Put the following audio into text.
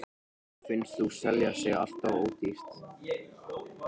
Henni finnst hún selja sig alltof ódýrt.